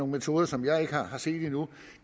metoder som jeg ikke har set endnu